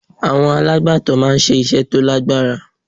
Àwọn alàgbàtó máa ń ṣe iṣẹ́ tó lágbára.